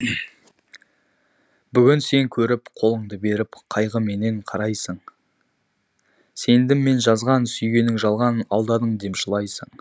бүгін сен көріп қолыңды беріп қайғыменен қарайсың сендім мен жазған сүйгенің жалған алдадың деп жылайсың